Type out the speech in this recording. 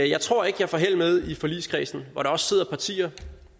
jeg tror ikke jeg får held med i forligskredsen hvor der også sidder de partier